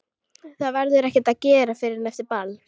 Það verður ekkert að gera fyrr en eftir ball.